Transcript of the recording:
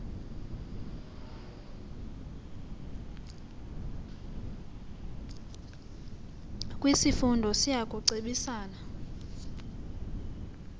kwisifundo siya kucebisana